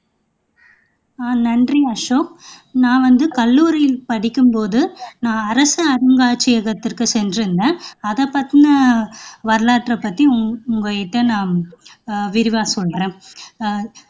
ஆஹ் நன்றி அசோக் நான் வந்து கல்லூரியில் படிக்கும் போது நான் அரச அருங்காட்சியகத்துக்கு சென்றிருந்தேன் அத பத்தின அத பத்தின வரலாற்றை பத்தி உங்ககிட்ட ஆஹ் விரிவா சொல்றேன் ஆஹ்